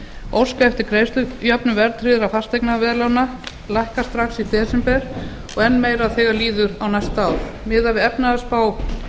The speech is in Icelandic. óska eftir greiðslujöfnun verðtryggðra fasteignaveðlána lækka strax í desember og enn meira þegar líður á næsta ár miðað við efnahagsspá